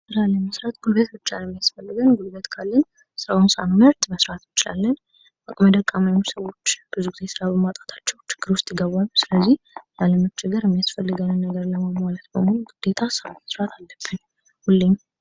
ስራ ለመስራት ጉልበት ብቻ ነው የሚያስፈልገን« ጉልበት ካለን ስራውን ሳንመርጥ መስራት እንችላለን። ደካማ የሆኑ ሰዎች ብዙ ጊዜ ስራ በማጣታቸው ችግር ዉስጥ ይገባሉ። ስለዚህ ላላመቸገር ግዴታ ስራ መስራት አለብን።